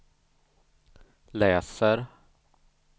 läser